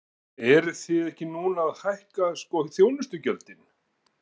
Eruð þið ekki núna að hækka sko þjónustugjöldin?